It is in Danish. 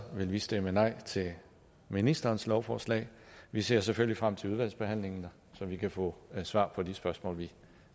vil vi stemme nej til ministerens lovforslag vi ser selvfølgelig frem til udvalgsbehandlingen så vi kan få svar på de spørgsmål vi